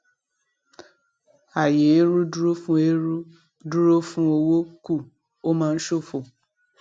àyé eérú dúró fún eérú dúró fún owó kù ó máa ń ṣófo